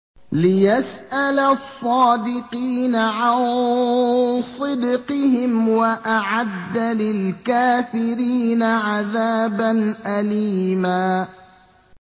لِّيَسْأَلَ الصَّادِقِينَ عَن صِدْقِهِمْ ۚ وَأَعَدَّ لِلْكَافِرِينَ عَذَابًا أَلِيمًا